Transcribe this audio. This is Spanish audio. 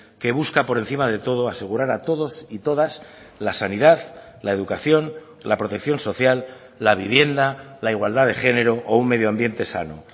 que busca por encima de todo asegurar a todos y todas la sanidad la educación la protección social la vivienda la igualdad de género o un medio ambiente sano